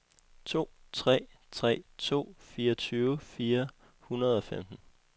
to tre tre to fireogtyve fire hundrede og femten